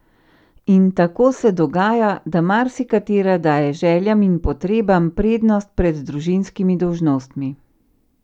In tako se dogaja, da marsikatera daje željam in potrebam prednost pred družinskimi dolžnostmi.